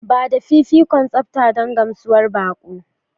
Ba da fifikon tsafta don gamsuwar baƙo.